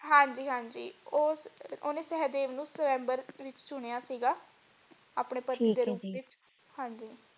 ਹਾਂਜੀ ਹਾਂਜੀ ਉਹ ਓਹਨੇ ਸਹਿਦੇਵ ਨੂੰ ਸਵੰਬਰ ਵਿਚ ਚੁਣਿਆ ਸੀਗਾ ਠੀਕ ਹੈ ਜੀ ਆਪਣੇ ਪਤੀ ਦੇ ਰੂਪ ਵਿਚ ਹਾਂਜੀ।